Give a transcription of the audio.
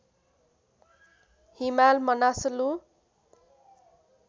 Himal Manaslu